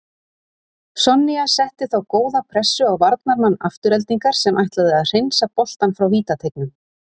Sonja setti þá góða pressu á varnarmann Aftureldingar sem ætlaði að hreinsa boltann frá vítateignum.